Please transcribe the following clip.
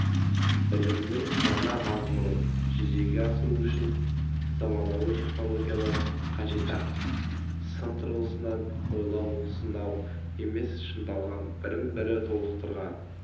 білімнің жаңа мазмұнын жүзеге асыру үшін заманауи технологиялар қажет-ақ сын тұрғысынан ойлау-сынау емес шыңдалған бірін-бірі толықтырған